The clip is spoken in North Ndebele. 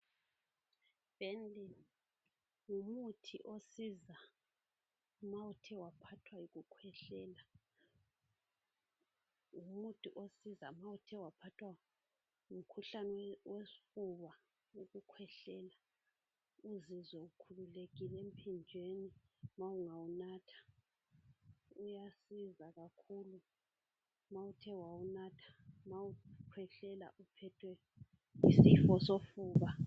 IBenylin ngumuthi osiza ma uthe waphathwa yikukhwehleia. Ngumuthi osiza ma uthe waphathwa ngumkhuhlane wesifuba, ukukhwehlela. Nxa uthe wawunatha uzwa ukhululekile emphinjeni. Uyasiza kakhulu! Nxa uthe wawunatha. Uphethwe yisifo sofuba, ukukhwehlela.